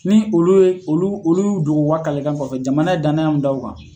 Ni olu ye olu olu ye u dogo u ka kalekan kɔfɛ jamana ye danaya mun da u kan